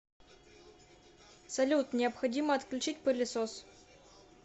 салют необходимо отключить пылесос